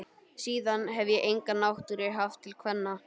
Síðan hefi ég enga náttúru haft til kvenna.